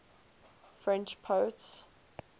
french poets